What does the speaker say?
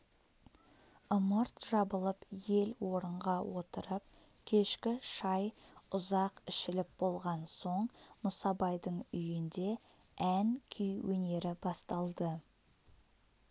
ымырт жабылып ел орынға отырып кешкі шай ұзақ ішіліп болған соң мұсабайдың үйінде ән-күй өнері басталды